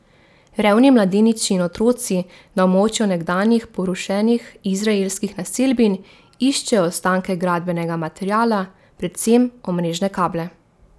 Revni mladeniči in otroci na območju nekdanjih porušenih izraelskih naselbin iščejo ostanke gradbenega materiala, predvsem omrežne kable.